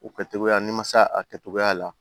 O kɛcogoya n'i ma se a kɛcogoya la